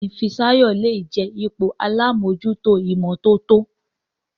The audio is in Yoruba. Béèni Fisayo lẹ jé ipò àlabòjuto imototo.